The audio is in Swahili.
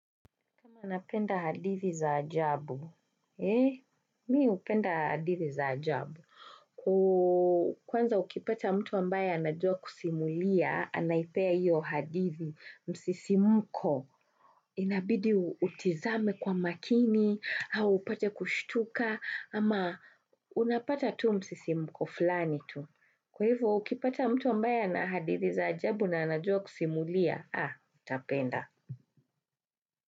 Napenda hadithi za ajabu. Mimi hupenda hadithi za ajabu. Kwanza ukipata mtu ambaye anajua kusimulia, anaipea hiyo hadithi msisimuko. Inabidi utizame kwa makini, au upate kushtuka, ama unapata tu msisimuko fulani tu. Kwa hivyo ukipata mtu ambaye ana hadithi za ajabu na anajua kusimulia, ha, utapenda.